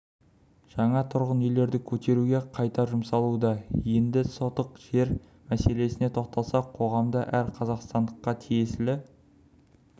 жаңа тұрғын үйлерді көтеруге қайта жұмсалуда енді сотық жер мәселесіне тоқталсақ қоғамда әр қазақстандыққа тиесілі